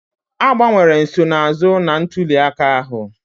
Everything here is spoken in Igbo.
Agbanwere nsonaazụ na ntuli aka ahụ